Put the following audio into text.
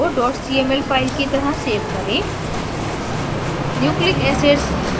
image को cml file की तरह सेव करें